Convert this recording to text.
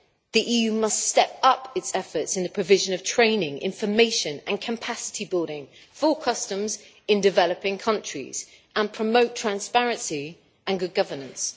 The EU must step up its efforts in the provision of training, information and capacity building, full customs in developing countries, and promote transparency and good governance.